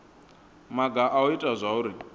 maga a u ita zwauri